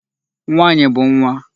Nwaanyị bụ nwa.